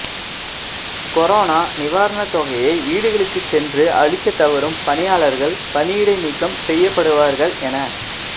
corona நிவாரணத் தொகைய வீடுகளுக்குச் சென்று அளிக்கத் தவறும் பணியாளர்கள் பணியிடை நீக்கம் செய்யப்படுவார்கள் என